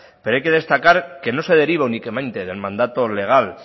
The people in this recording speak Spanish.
pero hay que destacar que no se deriva únicamente del mandato legal